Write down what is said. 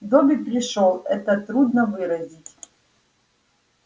добби пришёл это трудно выразить